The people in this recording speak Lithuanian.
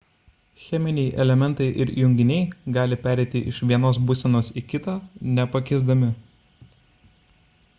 cheminiai elementai ir junginiai gali pereiti iš vienos būsenos į kitą nepakisdami